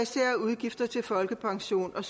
udgifter til folkepension og